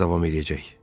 Nə qədər davam eləyəcək?